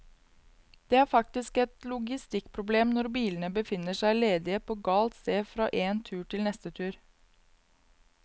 Det er faktisk et logistikkproblem når bilene befinner seg ledige på galt sted fra én tur til neste tur.